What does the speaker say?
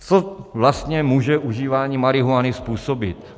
Co vlastně může užívání marihuany způsobit?